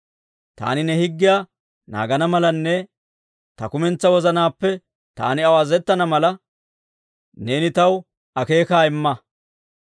Taani ne higgiyaa naagana malanne ta kumentsaa wozanaappe taani aw azazettana mala, neeni taw akeekaa imma.